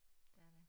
Dét er det